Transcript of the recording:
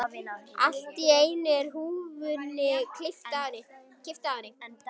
Allt í einu er húfunni kippt af henni!